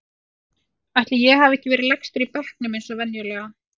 Ætli ég hafi ekki verið lægstur í bekknum eins og venjulega.